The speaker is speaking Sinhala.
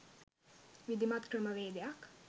විධිමත් ක්‍රමවේදයක්